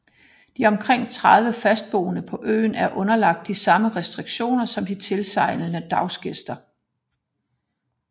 De omkring 30 fastboende på øen er underlagt de samme restriktioner som de tilsejlende dagsgæster